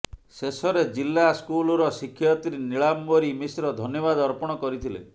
ଶେଷରେ ଜିଲ୍ଲା ସ୍କୁଲର ଶିକ୍ଷୟତ୍ରୀ ନିଳାମ୍ୱରୀ ମିଶ୍ର ଧନ୍ୟବାଦ ଅର୍ପଣ କରିଥିଲେ